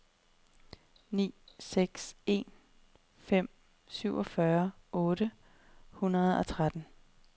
ni seks en fem syvogfyrre otte hundrede og tretten